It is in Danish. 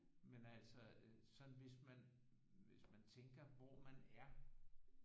Men altså sådan hvis man hvis man tænker hvor man er